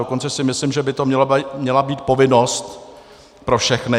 Dokonce si myslím, že by to měla být povinnost pro všechny.